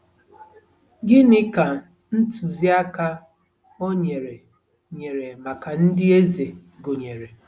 Gịnị ka ntụziaka o nyere nyere maka ndị eze gụnyere?